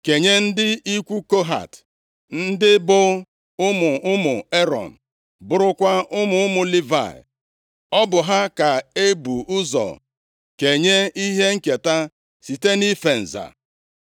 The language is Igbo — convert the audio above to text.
kenye ndị ikwu Kohat, ndị bụ ụmụ ụmụ Erọn, bụrụkwa ụmụ ụmụ Livayị. Ọ bụ ha ka e bụ ụzọ kenye ihe nketa site nʼife nza.